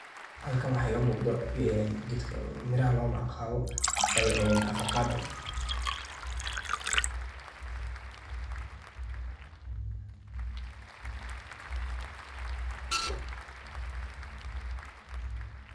Halkan waxa iga muqdah keetka meeraha lawa magaca qaboh een avocado